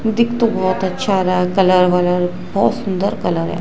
दिखे तो बहोत अच्छा आ रहा है कलर वलर बहोत सुंदर कलर है।